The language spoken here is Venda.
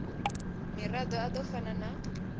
mirado a do fana na